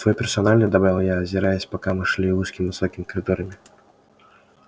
твой персональный добавил я озираясь пока мы шли узкими высокими коридорами